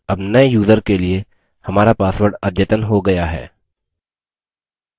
अब नये यूज़र के लिए हमारा password अद्यतन हो गया है